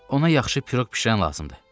Ona yaxşı piroq bişirən lazımdır.